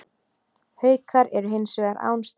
Haukar eru hins vegar án stiga